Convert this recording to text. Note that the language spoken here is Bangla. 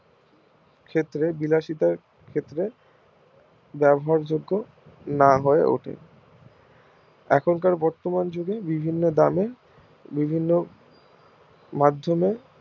ক্ষেত্রে বিলাসিতার ক্ষেত্রে ব্যবহার যোগ্য না হয়ে ওঠে এখনকার বর্তমান যুগে বিভিন্ন দামে বিভিন্ন অঞ্চলে